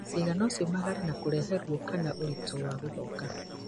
ciĩga no ciũmagare na kũrehe ruo kana ũritũ wa gũthonga